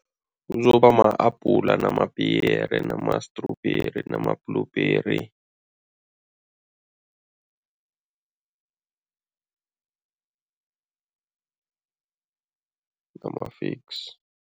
Kuzoba ma-apula, namapiyeri nama-strawberry nama-blueberry nama-figs.